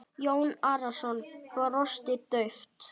Jón Arason brosti dauft.